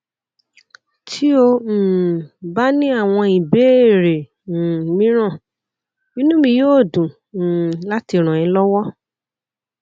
tí o um bá ní àwọn ìbéèrè um mìíràn inú mi yóò dùn um láti ràn é lọwọ